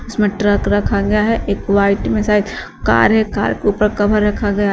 इसमें ट्रक रखा गया है एक वाइट में साइड कार है कार के ऊपर कवर रखा गया है।